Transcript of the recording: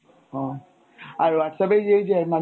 আর Whatsapp এ এই এই যে